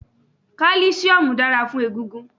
Kálísíómù dára fún egungun